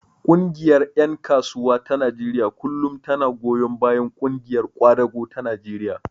Ƙungiyar ƴan kasuwa ta Najeriya kullum tana goyon bayan ƙungiyar ƙwadago ta Najeriya.